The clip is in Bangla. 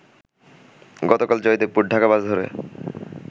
গতকাল জয়দেবপুর-ঢাকা বাস ধরে